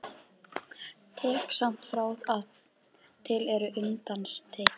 Tek samt fram að til eru undantekningar.